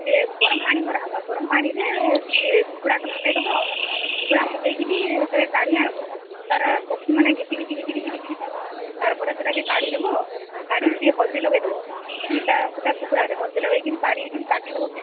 ଗରମ ପାଣି କରିବସେ ଗରମ ପାଣି ରେ ଚିକେନକୁ ପକେଇକେ ଧୋଇଦେବା ତାପରେ ତାକୁ ବାହାର କରି ହଳଦୀ ପକେଇ ରଖିଦେବା ତାପରେ ତାକୁ କାଟି ଦେବା -ହୁଁ ହୁଁ ହୁଁ